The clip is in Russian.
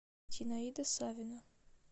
зинаида савина